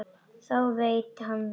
Þá veit hann það.